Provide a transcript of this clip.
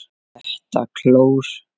ÞETTA KLÓR!